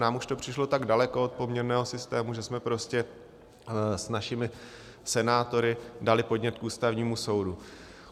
Nám už to přišlo tak daleko od poměrného systému, že jsme prostě s našimi senátory dali podnět k Ústavnímu soudu.